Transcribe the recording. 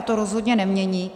A to rozhodně nemění.